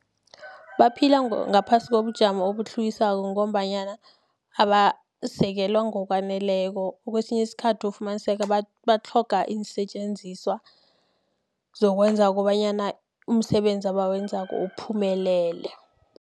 Baphila ngaphasi kobujamo obutlhuwisako, ngombanyana abasekelwa ngokwaneleko. Kwesinye isikhathi ufumaniseka batlhoga iinsetjenziswa, zokwenza kobanyana, umsebenzi abawenzako uphumelele.